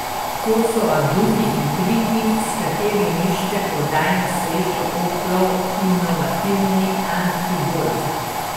To so aduti in triki, s katerimi išče prodajno srečo Oplov inovativni antigolf.